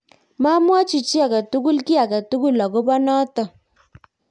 mamwochi chii age tugul ky age tugul akobo noto